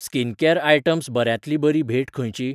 Skincare items बऱ्यांतली बरी भेंट खंयची?